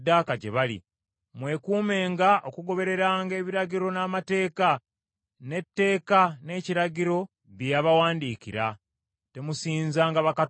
Mwekuumenga okugobereranga ebiragiro n’amateeka, n’etteeka, n’ekiragiro bye yabawandiikira. Temusinzanga bakatonda abalala.